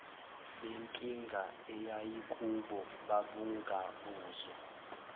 benkinga eyayikubo babungabuzwa